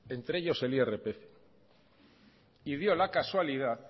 entre ellos el irpf y dio la casualidad